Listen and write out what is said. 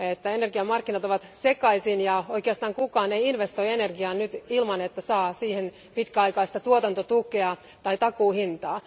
Energiamarkkinat ovat sekaisin ja oikeastaan kukaan ei investoi energiaan nyt ilman, että saa siihen pitkäaikaista tuotantotukea tai takuuhintaa.